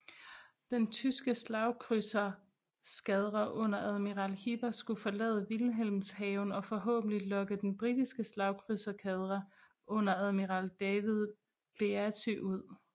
Den tyske slagkrydsereskadre under admiral Hipper skulle forlade Wilhelmshaven og forhåbentlig lokke den britiske slagkrydsereskadre under admiral David Beatty ud